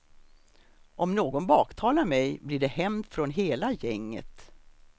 Om någon baktalar mej, blir det hämnd från hela gänget.